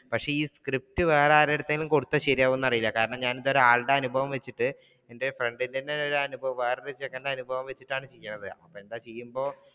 പക്ഷെ script വേറെ ആരുടെ അടുത്തലും കൊടുത്താൽ ശരിയാവുവോ എന്നറിയില്ല കാരണം എന്റെ ഒരാളുടെ അനുഭവം വെച്ചിട്ട് എന്റെ friend ന്റെ തന്നെ അനുഭവമാ ഇവിടത്തെ ചെക്കന്റെ അനുഭവം വെച്ചിട്ടാണ് ചെയുന്നത് .